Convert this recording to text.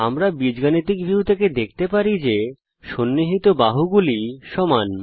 আমরা algebra view থেকে দেখতে পারি যে সন্নিহিত বাহুগুলি সমান